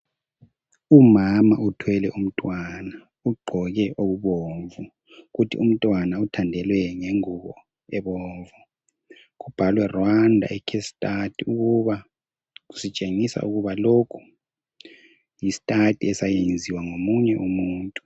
Umama uthwele umntwana ugqoke okubomvu kuthi umntwana uthandelwe ngengubo ebomvu. Kubhalwe "Rwanda:A Case Study" ukuba kusitshengisa ukuba lokhu yi"study"esayenziwa ngomunye umuntu.